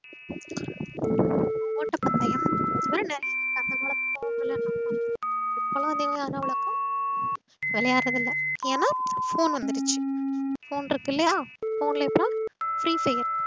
ஓட்டப்பந்தையம் அந்தமாறி நறைய அந்தகாலத்துல விளையாண்டோம் நம்ம இப்போலாம் பாத்திங்கன்னா அவ்ளோக்கா விளையார்றது இல்ல ஏன்னா phone வந்துருச்சு phone இருக்குல்லையா phone ல இப்போ free fair